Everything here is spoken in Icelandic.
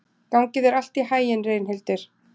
Gangi þér allt í haginn, Reynhildur.